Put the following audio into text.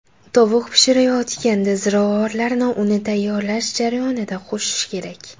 Tovuq pishirayotganda ziravorlarni uni tayyorlash jarayonida qo‘shish kerak.